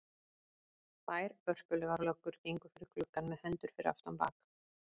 Tvær vörpulegar löggur gengu fyrir gluggann með hendur fyrir aftan bak.